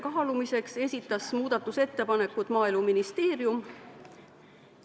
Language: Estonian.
Maaeluministeerium esitas muudatusettepanekud juhtivkomisjonile kaalumiseks.